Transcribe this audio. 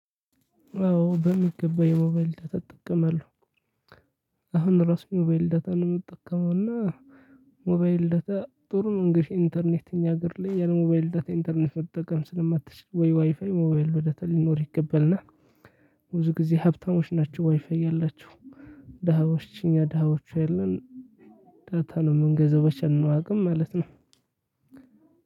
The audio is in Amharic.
አዎ በሚገባ የሞባይል ዳታ እጠቀማለሁ። አሁን ራሱ በሞባይል ዳታ ነው የምትጠቀመው፤ እና ሞባይል ዳታ ጥሩ ነው። እንግዲህ ኢንተርኔት እኛ ሀገር ላይ ያለ ሞባይል ዳተ ኢንተርኔት መጠቀም ስለማትችል። ወይ ዋይፋይ ወይ የሞባይል ዳታ ሊኖር ይገባል። እና ብዙ ጊዜ ሀብታሞች ናቸው ዋይፋይ ያላቸው። ደሃዎች እኛ ደሃዎቹ አለን ዳታ ነው የምንገዛው በቻልንው አቅም ማለት ነው።